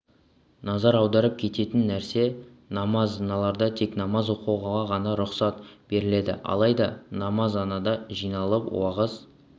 назар аударып кететін нәрсе намазіаналарда тек намаз оқуға ғана рұқсат беріледі алайда намазіанада жиналып уағыз